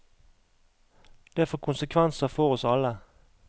Det får konsekvenser for oss alle.